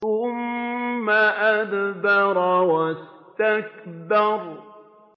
ثُمَّ أَدْبَرَ وَاسْتَكْبَرَ